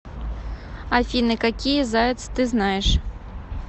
афина какие заяц ты знаешь